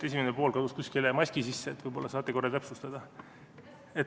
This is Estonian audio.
Esimene pool kadus kuskile maski sisse, võib-olla saate korra täpsustada?